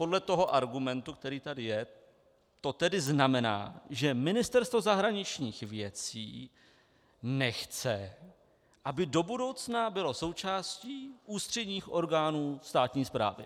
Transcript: Podle toho argumentu, který tady je, to tedy znamená, že Ministerstvo zahraničních věcí nechce, aby do budoucna bylo součástí ústředních orgánů státní správy.